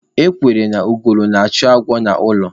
Ekwuru na ugolo na-achụ agwọ n'ụlọ.